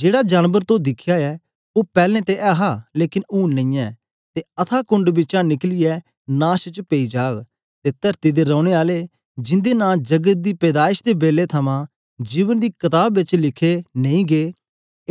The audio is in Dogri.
जेड़ा जानबर तो दिखया ऐ ओ पैलैं ते ऐहा लेकन हूंन नेईयैं ते अथाह कुंड बिचा निकलियै नाश च पेई जाग ते तरती दे रैने आले जिंदे नां जगत दी पैदाइश दे बेलै थमां जीवन दी कताब बिच लिखे नेई गै